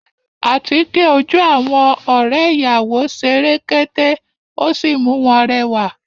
Àtíkè ojú àwọn ọ̀rẹ́ ìyàwó ṣe rekete, ó sì mú wọn rẹwà